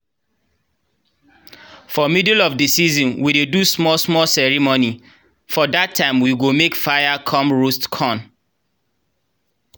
for middle of the season we dey do small-small ceremony. for that time we go make fire come roast corn.